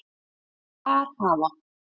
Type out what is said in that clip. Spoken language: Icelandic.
Þar hafa